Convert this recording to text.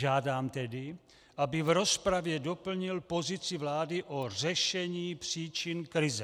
Žádám tedy, aby v rozpravě doplnil pozici vlády o řešení příčin krize.